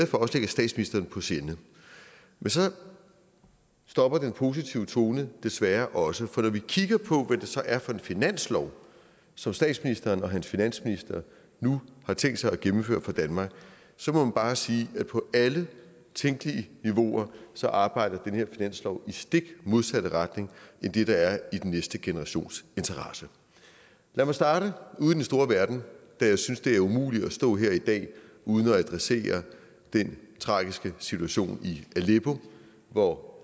for også ligger statsministeren på sinde men så stopper den positive tone desværre også for når vi kigger på hvad så er for en finanslov som statsministeren og hans finansminister nu har tænkt sig at gennemføre for danmark så må man bare sige at på alle tænkelige niveauer arbejder den her finanslov i den stik modsatte retning af det der er i den næste generations interesse lad mig starte ude i den store verden da jeg synes det er umuligt at stå her i dag uden at adressere den tragiske situation i aleppo hvor